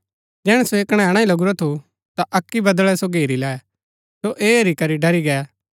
जैहणै सो ऐह कणैणा ही लगुरा थु ता अक्की बदळै सो घेरी लै सो ऐह हेरी करी ड़री गै